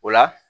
O la